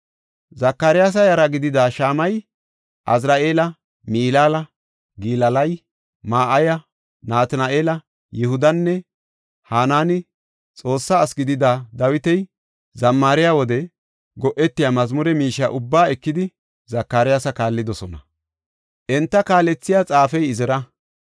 Zakaryaasa yara gidida Shama7ey, Azari7eeli, Milaala, Gilaalay, Ma7ayey, Natina7eeli, Yihudinne Hanaani Xoossa asi gidida Dawiti zammariya wode go7etiya mazmure miishiya ubbaa ekidi, Zakaryaasa kaallidosona. Enta kaalethey xaafiya Izira.